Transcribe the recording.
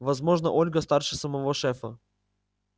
возможно ольга старше самого шефа